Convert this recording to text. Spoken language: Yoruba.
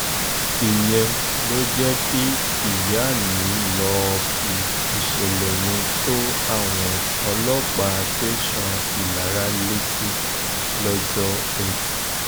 ìyẹn ló jẹ́ kí ìyá mi lọ́ọ́ fi ìṣẹ̀lẹ̀ yẹn tó àwọn ọlọ́pàá tẹ̀sán ìlara létí lọ́jọ́ etí furuufee